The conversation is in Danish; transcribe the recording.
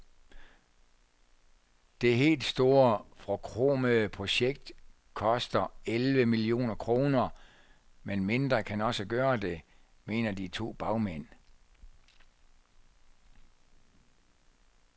Det helt store forkromede projekt koster elleve millioner kroner, men mindre kan også gøre det, mener de to bagmænd.